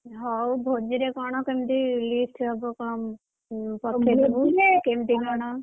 ହଉ ଭୋଜିରେ କଣ କେମିତି list ହବ, ପଠେଇବୁ! କେମିତି କଣ?